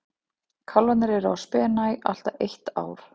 Kálfarnir eru á spena í allt að eitt ár.